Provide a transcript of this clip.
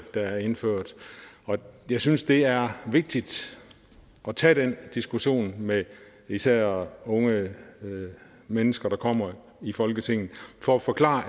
der er indført jeg synes det er vigtigt at tage den diskussion med især unge mennesker der kommer i folketinget for at forklare